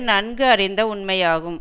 நன்கு அறிந்த உண்மையாகும்